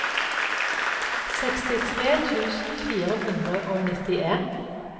sekstitre tusen fire hundre og nittien